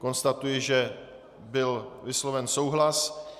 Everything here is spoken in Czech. Konstatuji, že byl vysloven souhlas.